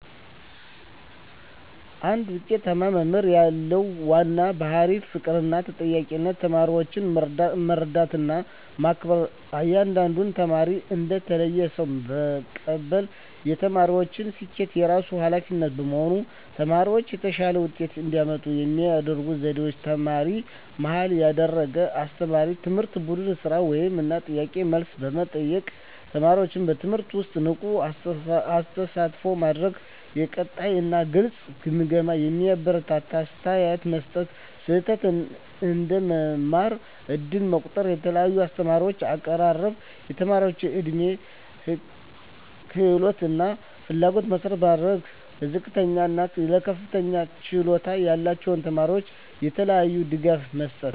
አንድ ውጤታማ መምህር ያለው ዋና ባሕርይ ፍቅርና ተጠያቂነት ተማሪዎችን መረዳትና መከበር እያንዳንዱን ተማሪ እንደ ተለየ ሰው መቀበል የተማሪዎችን ስኬት የራሱ ኃላፊነት መሆን ተማሪዎች የተሻለ ውጤት እንዲያመጡ የሚረዱ ዘዴዎች ተማሪ-መሃል ያደረገ አስተማማኝ ትምህርት ቡድን ሥራ፣ ውይይት እና ጥያቄ–መልስ መጠቀም ተማሪዎችን በትምህርቱ ውስጥ ንቁ ተሳትፎ ማድረግ የቀጣይ እና ግልጽ ግምገማ የሚያበረታታ አስተያየት መስጠት ስህተት እንደ መማር ዕድል መቆጠር የልዩነት አስተማማኝ አቀራረብ የተማሪዎች ዕድሜ፣ ክህሎት እና ፍላጎት መሠረት ማድረግ ለዝቅተኛ እና ለከፍተኛ ችሎታ ያላቸው ተማሪዎች የተለያዩ ድጋፎች መስጠት